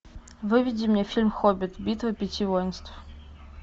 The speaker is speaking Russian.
выведи мне фильм хоббит битва пяти воинств